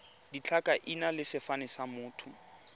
ditlhakaina le sefane sa motho